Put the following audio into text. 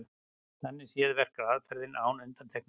Þannig séð verkar aðferðin án undantekningar.